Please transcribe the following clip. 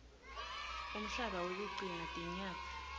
umhlaba wekugcina tinyatsi